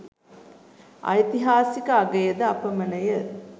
ඓතිහාසික අගය ද අපමණය.